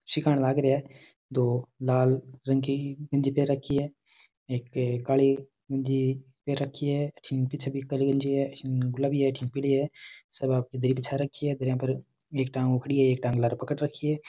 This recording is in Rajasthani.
सिखान लाग रहा है दो लाल रंग की गंजी पहन राखी है एक काले रंग की पहन राखी है अठीने --